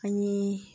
Ani